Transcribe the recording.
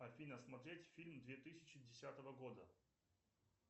афина смотреть фильм две тысячи десятого года